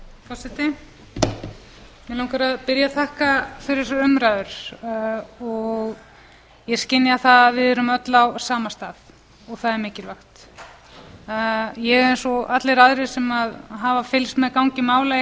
mig langar að byrja að þakka fyrir þessar umræður ég skynja það að við erum öll á sama stað og það er mikilvægt ég eins og allir aðrir sem hafa fylgst með gangi mála í